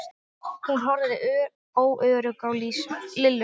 Hún horfði óörugg á Lillu.